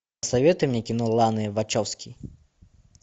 посоветуй мне кино лана вачовски